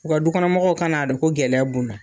U ka dukɔnɔmɔgɔw ka n'a don ko gɛlɛya bu na.